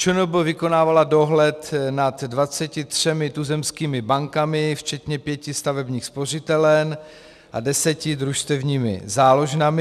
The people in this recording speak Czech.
ČNB vykonávala dohled nad 23 tuzemskými bankami včetně pěti stavebních spořitelen a deseti družstevními záložnami.